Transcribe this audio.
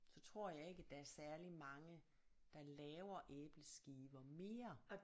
Så tror jeg ikke at der er særlig mange der laver æbleskiver mere